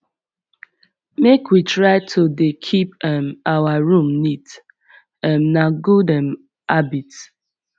make we try to dey keep um our room neat um na gud um habit